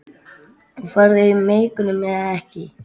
Farðu í megrun eða ekki.